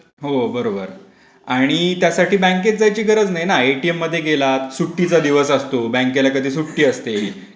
हो बरोबर आणि त्यासाठी बँकेत जायची गरज नाही ना एटीएम मध्ये गेला सुट्टीचा दिवस असतो बँकेला कधी सुट्टी असते.